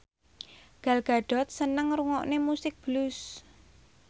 Gal Gadot seneng ngrungokne musik blues